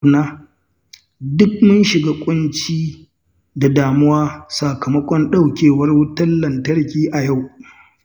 Duk mun shiga kunci da damuwa sakamakon ɗauke wutar lantarki a yau.